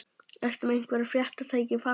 Ertu með einhver fréttatæki í farangrinum?